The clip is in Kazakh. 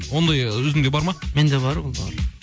ондай өзіңде бар ма менде бар